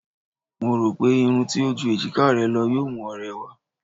Mo rò pé irun tí kò ju èjiká rẹ lọ yóò mú ọ rẹwà.